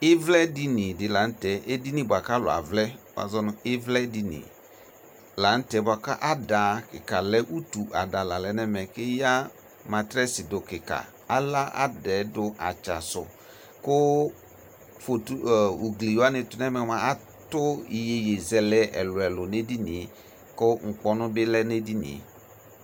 Ivlɛ dini lanʋtɛ buaku utuada kika lalɛ eya matrɛs dʋ ka ala adɛdʋ atsasʋ atʋ iyeye zɛlɛ ɛlʋ ɛlʋ nʋ uglietu kʋ nkpɔnʋ bɩ dʋ